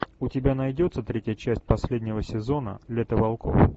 у тебя найдется третья часть последнего сезона лето волков